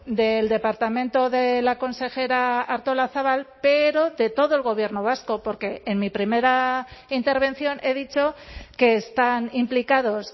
del departamento de la consejera artolazabal pero de todo el gobierno vasco porque en mi primera intervención he dicho que están implicados